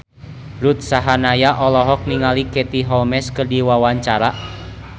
Ruth Sahanaya olohok ningali Katie Holmes keur diwawancara